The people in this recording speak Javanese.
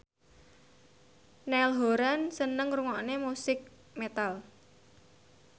Niall Horran seneng ngrungokne musik metal